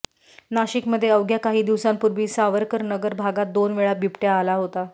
नाशिकमध्ये अवघ्या काही दिवसांपूर्वी सावरकरनगर भागात दोन वेळा बिबट्या आला होता